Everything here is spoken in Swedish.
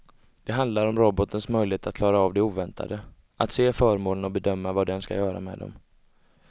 Det handlar om robotens möjlighet att klara av det oväntade, att se föremålen och bedöma vad den ska göra med dem.